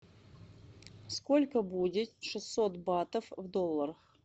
сколько будет шестьсот батов в долларах